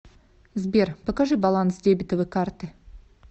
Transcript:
сбер покажи баланс дебетовой карты